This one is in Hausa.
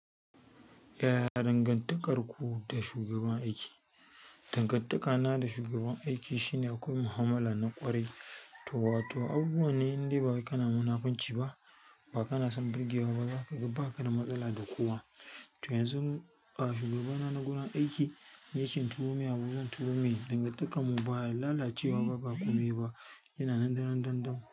Yaya dangantakarku da shugaban aiki? Dangantakana da shugaban aiki shine akwai mu'amala na ƙwarai. To wato abubuwan ne indai bawai kana munafunci ba, ba kana son burgewa ba, zakaga ba kada matsala da kowa. To yanzu a shugabana na gurin aiki, in yace in turu mai abun zan turu mai dangantakarmu ba lalacewa ba, ba komai ba, yana nan daran dan dan.